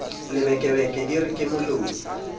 lebekebeke di re ke moloi